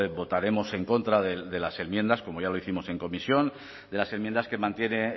votaremos en contra de las enmiendas como ya lo hicimos en comisión de las enmiendas que mantiene